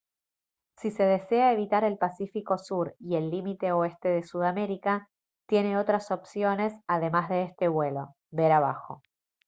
si se desea evitar el pacífico sur y el límite oeste de sudamérica tiene otras opciones además de este vuelo ver abajo